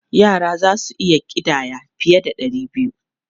Yara za su iya ƙidaya fiye da ɗari biyu.